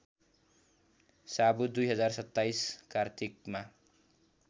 सावु २०२७ कार्तिकमा